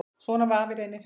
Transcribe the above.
Svona var afi Reynir.